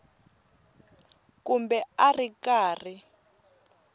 kumbe a a ri karhi